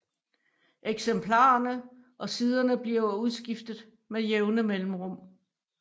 Eksemplarerne og siderne bliver udskiftet med jævne mellemrum